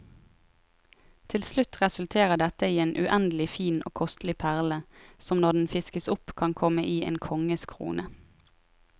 Til slutt resulterer dette i en uendelig fin og kostelig perle, som når den fiskes opp kan komme i en konges krone.